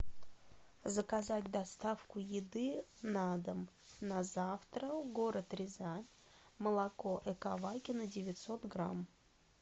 заказать доставку еды на дом на завтра город рязань молоко эковакино девятьсот грамм